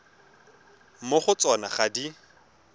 mo go tsona ga di